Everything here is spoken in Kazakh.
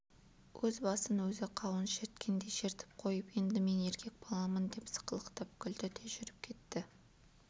өз басын өзі қауын шерткендей шертіп қойып енді мен еркек баламын деп сықылықтап күлді де жүріп кетті